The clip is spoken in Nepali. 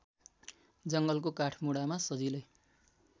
जङ्गलको काठमुढामा सजिलै